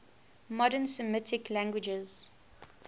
modern semitic languages